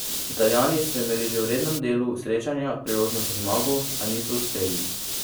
Italijani so imeli že v rednem delu srečanja priložnost za zmago, a niso uspeli.